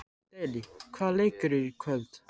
Daley, hvaða leikir eru í kvöld?